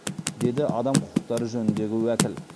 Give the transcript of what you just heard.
деді адам құқықтары жөніндегі уәкіл